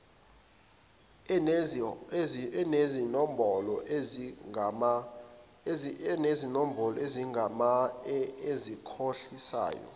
enezinombolo ezingamanga ezikhohlisayo